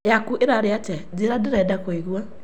Yaku ĩrarĩ atĩa njĩra ndĩrenda kũigua